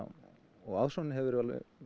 og aðsóknin hefur verið